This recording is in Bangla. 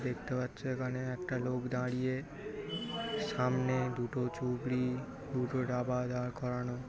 দেখতে পাচ্ছ এখানে একটা লোক দাঁড়িয়ে সামনে দুটো চুবড়ী দুটো রাবার করানো ।